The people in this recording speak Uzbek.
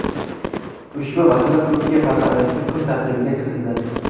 Ushbu masala Turkiya parlamenti kun tartibiga kiritildi.